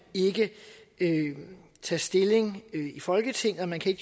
ikke tage stilling i folketinget og man kan